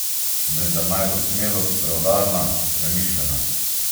Vendar naj bo smelost preudarna, premišljena.